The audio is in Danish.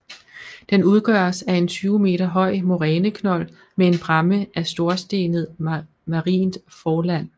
Den udgøres af en 20 m høj moræneknold med en bræmme af storstenet marint forland